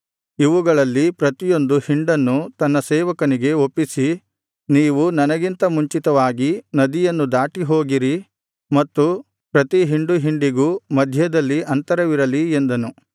ಇವುಗಳಲ್ಲಿ ಪ್ರತಿಯೊಂದು ಹಿಂಡನ್ನು ತನ್ನ ಸೇವಕನಿಗೆ ಒಪ್ಪಿಸಿ ನೀವು ನನಗಿಂತ ಮುಂಚಿತವಾಗಿ ನದಿಯನ್ನು ದಾಟಿ ಹೋಗಿರಿ ಮತ್ತು ಪ್ರತಿ ಹಿಂಡು ಹಿಂಡಿಗೂ ಮಧ್ಯದಲ್ಲಿ ಅಂತರವಿರಲಿ ಎಂದನು